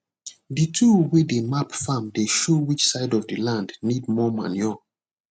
the tool wey dey map farm dey show which side of the land need more manure